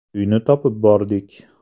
Uyini topib bordik.